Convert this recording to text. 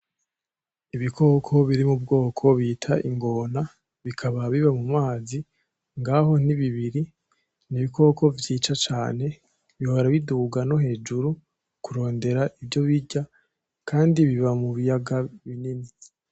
Ibikoko biri mubwoko bita ingona, bikaba biba mumazi ngaho ni bibiri, ni ibikoko vyica cane bihora biduga no hejuru kurondera ivyo birya, kandi biba mubiyaga binini.